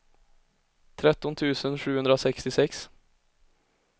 tretton tusen sjuhundrasextiosex